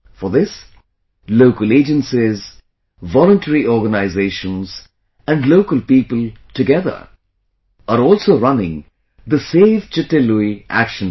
For this, local agencies, voluntary organizations and local people, together, are also running the Save Chitte Lui action plan